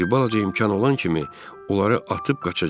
Bir balaca imkan olan kimi, onları atıb qaçacağıq.